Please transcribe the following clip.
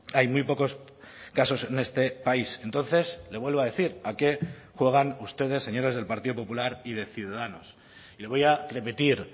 hay muy pocos casos en este país entonces le vuelvo a decir a qué juegan ustedes señores del partido popular y de ciudadanos le voy a repetir